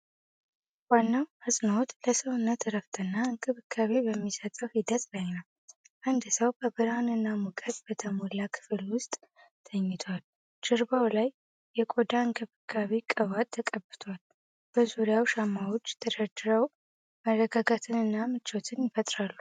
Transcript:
ዋናው አጽንዖት ለሰውነት እረፍትና እንክብካቤ በሚሰጠው ሂደት ላይ ነው። አንድ ሰው በብርሃንና ሙቀት በተሞላ ክፍል ውስጥ ተኝቷል። ጀርባው ላይ የቆዳ እንክብካቤ ቅባት ተቀብቷል። በዙሪያው ሻማዎች ተደርድረው መረጋጋትንና ምቾትን ይፈጥራሉ።